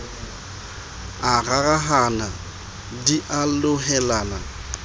a rarahana di a lohellana